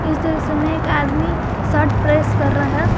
इस दृश्य में एक आदमी शर्ट प्रेस कर रहा है।